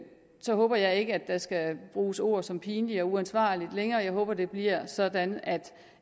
så håber jeg ikke at der skal bruges ord som pinligt og uansvarligt længere jeg håber det bliver sådan at